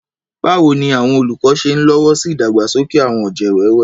Báwo ni àwọn olùkọ́ ṣe ń lọ́wọ́ sí ìdàgbàsókè àwọn ọ̀jẹ̀ wẹ́wẹ́?